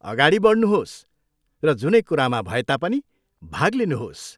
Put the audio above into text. अगाडि बढ्नुहोस् र जुनै कुरामा भए तापनि भाग लिनुहोस्।